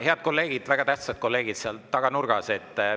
Head kolleegid, väga tähtsad kolleegid seal taganurgas!